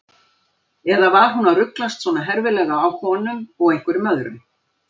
Eða var hún að ruglast svona herfilega á honum og einhverjum öðrum?